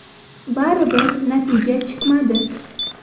Baribir natija chiqmadi.